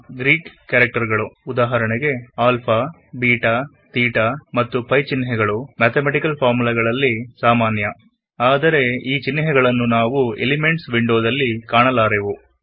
Greek character ಗಳಾದ alpha beta theta ಮತ್ತು pi ಚಿಹ್ನೆಗಳು ಮ್ಯಾಥ್ ಫಾರ್ಮುಲ ಗಳಲ್ಲಿ ಸಾಮಾನ್ಯ ಆದರೆ ಈ ಚಿಹ್ನೆಗಳನ್ನು ನಾವು ಎಲಿಮೆಂಟ್ಸ್ ವಿಂಡೋ ದಲ್ಲಿ ಕಾಣಲಾರೆವು